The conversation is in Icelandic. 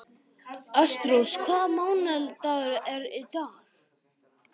Ástrós, hvaða mánaðardagur er í dag?